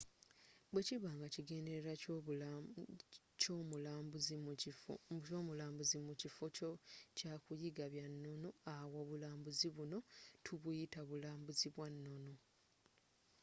bwekiba nga ekigendererwa kyomulambuuzi mukifo kyakuyiga byannono awo obulambuuzi buno tubuyita bulambuzi bwannono